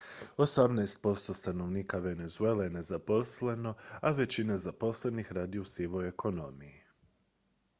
osamnaest posto stanovnika venezuele je nezaposleno a većina zaposlenih radi u sivoj ekonomiji